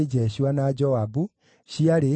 na cia Zakai ciarĩ 760